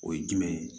O ye jumɛn ye